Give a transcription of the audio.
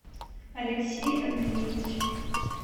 алексей андреевич